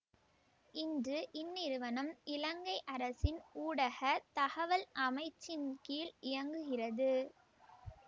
இன்று இந்நிறுவனம் இலங்கை அரசின் ஊடக தகவல் அமைச்சின் கீழ் இயங்குகிறது